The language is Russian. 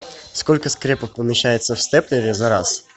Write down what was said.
сколько скрепок помещается в степлере за раз